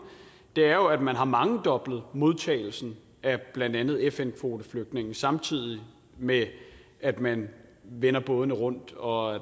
er jo at man har mangedoblet modtagelsen af blandt andet fn kvoteflygtninge samtidig med at man vender bådene rundt og